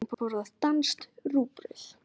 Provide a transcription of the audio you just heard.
Kristín borðar danskt rúgbrauð.